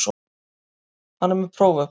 Hann er með próf upp á það.